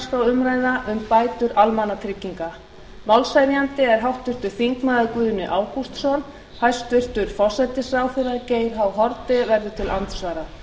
um bætur almannatrygginga málshefjandi er háttvirtur þingmaður guðni ágústsson hæstvirtur forsætisráðherra geir h haarde verður til andsvara